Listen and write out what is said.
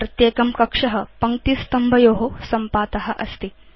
प्रत्येकं कक्ष पङ्क्तिस्तम्भयो सम्पात अस्ति